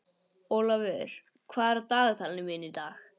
Olavur, hvað er í dagatalinu mínu í dag?